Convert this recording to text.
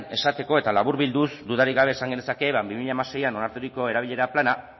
esateko eta laburbilduz dudarik gabe esan genezake ba bi mila hamasei onarturiko erabilera plana